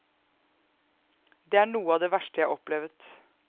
Det er noe av det verste jeg har opplevet.